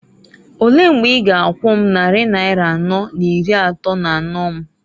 Olee mgbe i g'akwu m nnarị naịra anọọ n'iri atọọ n'anọọ m?